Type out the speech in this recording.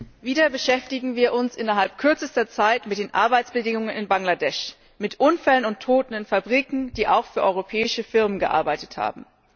Frau Präsidentin! Wieder beschäftigen wir uns innerhalb kürzester Zeit mit den Arbeitsbedingungen in Bangladesch, mit Unfällen und Toten in Fabriken, die auch für europäische Firmen gearbeitet haben.